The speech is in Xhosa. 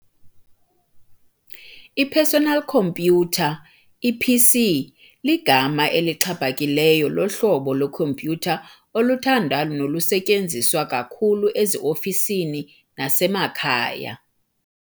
I-Personal Khompyutha, i-PC, ligama elixhaphakileyo lohlobo lwe-khompyutha oluthandwa nolusetyenziswa kakhulu ezi-ofisini nasemakhaya.